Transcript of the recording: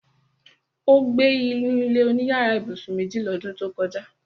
Ó gbé inú ilé-oníyàrá ibùsùn méjì lọ́dún tó kọjá